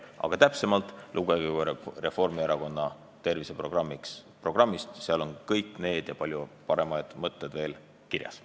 Aga täpsemalt lugege Reformierakonna terviseprogrammist, seal on kõik need ja veel palju paremad mõtted kirjas.